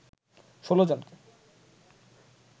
১৬ জনকে